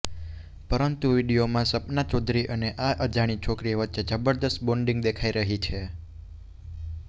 પરંતુ વીડિયોમાં સપના ચૌધરી અને આ અજાણી છોકરી વચ્ચે જબરદસ્ત બોન્ડિંગ દેખાઈ રહી છે